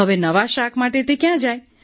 હવે નવા શાક માટે તે ક્યાં જાય